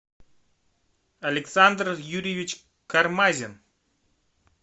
александр юрьевич кармазин